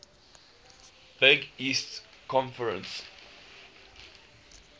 big east conference